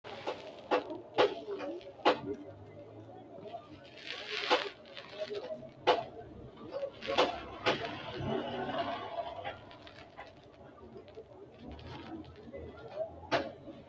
Meya beetto woyi seennu woyi meentu woyi amuwu kone daye uminsa danancho biifisirano baseti tini wombare ofollanote ku"u kayinni umoho lunke umo loosi'naniho.